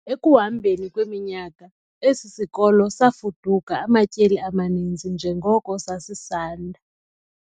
Ekuhambeni kweminyaka, esi sikolo safuduka amatyeli amaninzi njengoko sasisanda.